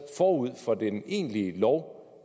forud for den egentlige lov